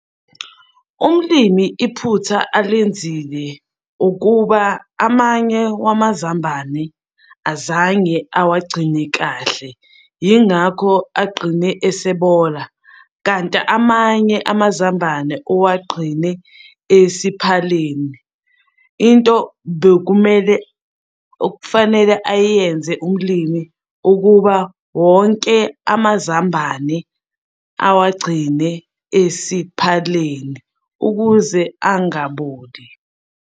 Umlimi iphutha alenzile ukuba amanye wamazambane azange awagcine kahle, yingakho agqine esebona, kanti amanye amazambane owagqine esiphaleni, into bekumele okufanele ayenze umlimi ukuba wonke amazambane awagcine esiphaleni ukuze angaboli.